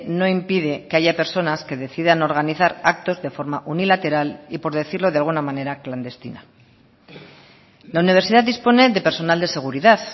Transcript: no impide que haya personas que decidan organizar actos de forma unilateral y por decirlo de alguna manera clandestina la universidad dispone de personal de seguridad